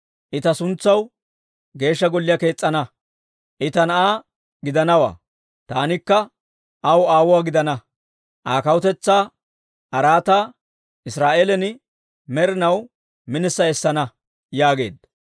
I ta suntsaw Geeshsha Golliyaa kees's'ana. I ta na'aa gidanawaa; taanikka aw aawuwaa gidana. Aa kawutetsaa araataa Israa'eelan med'inaw minissa essana› yaageedda.